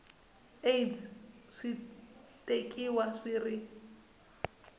aids swi tekiwa swi ri